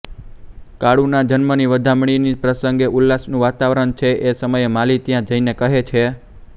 કાળુના જન્મની વધામણીના પ્રસંગે ઉલ્લાસનું વાતાવરણ છે એ સમયે માલી ત્યાં જઈને કહે છે